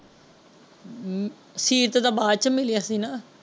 Sheet ਤਾ ਬਾਅਦ ਵਿੱਚੋ ਮਿਲਿਆ ਸੀ ਨਾ।